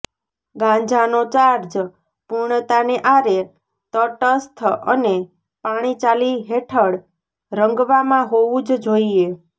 ગાંજાનો charge પૂર્ણતાને આરે તટસ્થ અને પાણી ચાલી હેઠળ રંગવામાં હોવું જ જોઈએ